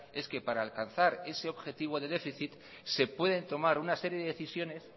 es que para alcanzar ese objetivo de déficit se pueden tomar una serie de decisiones